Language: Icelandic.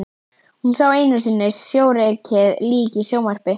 Hún sá einu sinni sjórekið lík í sjónvarpi.